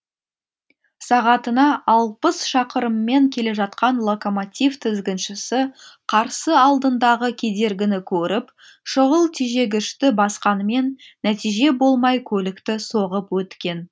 сағатына алпыс шақырыммен келе жатқан локомотив тізгіншісі қарсы алдындағы кедергіні көріп шұғыл тежегішті басқанымен нәтиже болмай көлікті соғып өткен